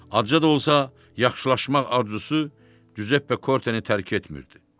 Acı da olsa, yaxşılaşmaq arzusu Giuseppe Kortenin tərk etmirdi.